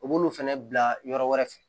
U b'olu fana bila yɔrɔ wɛrɛ fɛ